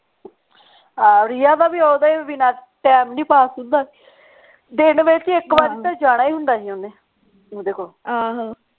ਹਾਂ ਰਿਆ ਦਾ ਵੀ ਓਹਦੇ ਬਿਨਾ ਟੈਮ ਨਹੀਂ ਪਾਸ ਹੁੰਦਾ ਦੀਦੰ ਵਿਚ ਤੇ ਇਕ ਵਰੀ ਤਾਂ ਜਾਣਾ ਹੀ ਹੁੰਦਾ ਸੀ ਓਹਨੇ ਓਹਦੇ ਕੋਲ